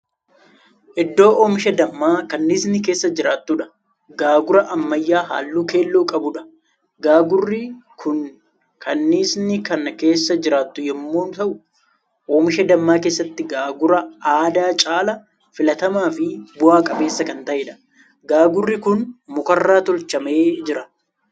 Iddoo oomisha dammaa kanniisni keessa jiraatudha. gaagura ammayyaa halluu keelloo qabuudha. gaagurri Kuni kanniisni Kan keessa jiraattu yommuun ta'u oomisha dammaa keessatti gaagura aadaa caalaa filatamaafi bu'a qabeessa kan ta'eedha. gaagurri Kuni mukarraa teechifamee Jira.